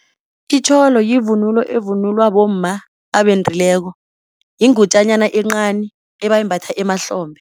Itjholo yivunulo evunulwa bomma abendileko yingutjanyana encani ebayimbatha emahlombe.